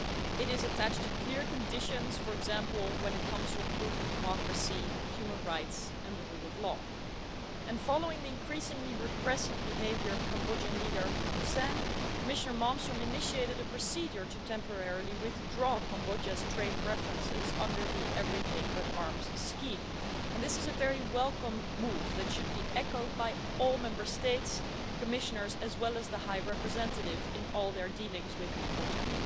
It is attached to clear conditions, for example when it comes to improving democracy, human rights and the rule of law, and following the increasingly repressive behaviour of Cambodian leader Hun Sen, Commissioner Malmström initiated a procedure to temporarily withdraw Cambodia's trade preferences, under the Everything but Arms scheme, and this is a very welcome move, that should be echoed by all Member States' Commissioners, as well as the High Representative in all their dealings with Cambodia.